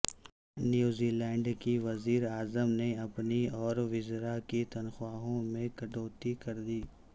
New Zealand کی وزیراعظم نے اپنی اور وزرا کی تنخواہوں میں کٹوتی کردی